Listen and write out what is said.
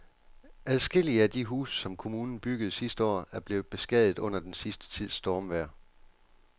Adskillige af de huse, som kommunen byggede sidste år, er blevet beskadiget under den sidste tids stormvejr.